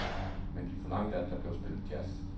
Men de forlangte, at der blev spillet jazz.